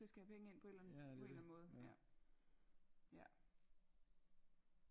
Ja det er det